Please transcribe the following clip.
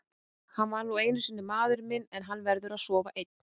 Hann er nú einu sinni maðurinn minn en hann verður að sofa einn.